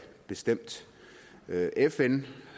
bestemt fn